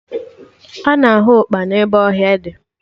Ana ahụ ụkpana ebe ọhịa dị